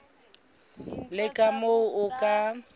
le ka moo o ka